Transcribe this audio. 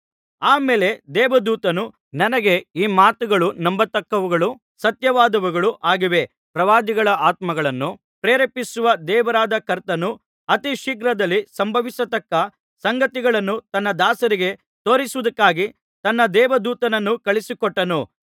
ಆ ಮೇಲೆ ದೇವದೂತನು ನನಗೆ ಈ ಮಾತುಗಳು ನಂಬತಕ್ಕವುಗಳೂ ಸತ್ಯವಾದವುಗಳೂ ಆಗಿವೆ ಪ್ರವಾದಿಗಳ ಆತ್ಮಗಳನ್ನು ಪ್ರೇರೇಪಿಸುವ ದೇವರಾದ ಕರ್ತನು ಅತಿಶೀಘ್ರದಲ್ಲಿ ಸಂಭವಿಸತಕ್ಕ ಸಂಗತಿಗಳನ್ನು ತನ್ನ ದಾಸರಿಗೆ ತೋರಿಸುವುದಕ್ಕಾಗಿ ತನ್ನ ದೇವದೂತನನ್ನು ಕಳುಹಿಸಿಕೊಟ್ಟನು